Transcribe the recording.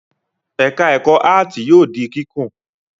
Ẹ̀ka-ẹ̀kọ́ áátì yóò di kíkùn.